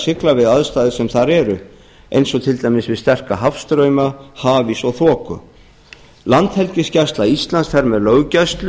sigla við aðstæður sem þar eru eins og til dæmis við sterka hafstrauma hafís og þoku landhelgisgæsla íslands fer með löggæslu